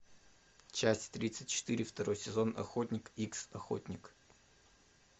часть тридцать четыре второй сезон охотник икс охотник